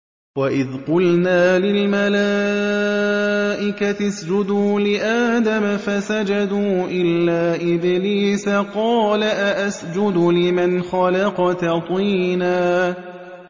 وَإِذْ قُلْنَا لِلْمَلَائِكَةِ اسْجُدُوا لِآدَمَ فَسَجَدُوا إِلَّا إِبْلِيسَ قَالَ أَأَسْجُدُ لِمَنْ خَلَقْتَ طِينًا